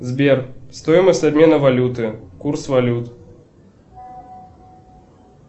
сбер стоимость обмена валюты курс валют